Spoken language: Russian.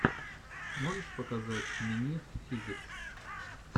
можешь показать минит физикс